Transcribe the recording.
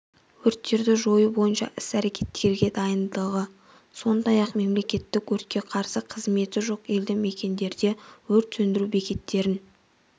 өрттерді жою бойынша іс-әрекеттерге дайындығы сондай-ақ мемлекеттік өртке қарсы қызметі жоқ елді-мекендерде өрт сөндіру бекеттерін